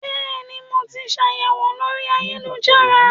Bẹ́ẹ̀ ni, mo ti ṣàyẹ̀wò lórí ayélujára